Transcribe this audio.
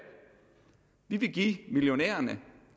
vi vil give millionærerne